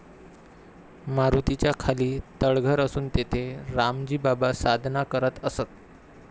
मारुतीच्या खाली तळघर असून तेथे रामजी बाबा साधना करत असत.